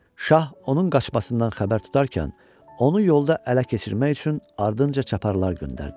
Şah onun qaçmasından xəbər tutarkən, onu yolda ələ keçirmək üçün ardınca çaparlar göndərdi.